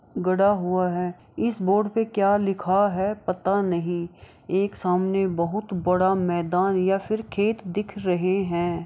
गदा हुआ है इस बोर्ड पे क्या लिखा है पता नहीं एक सामने बहुत बड़ा मैदान या फिर खेत दिख रहे है।